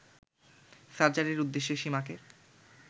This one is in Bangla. সার্জারির উদ্দেশ্যে সীমাকে